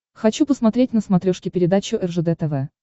хочу посмотреть на смотрешке передачу ржд тв